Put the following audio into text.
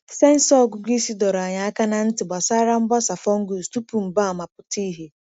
Sensọ ọgụgụ isi dọrọ anyị aka ná ntị gbasara mgbasa fungus tupu mgbaàmà pụta ìhè.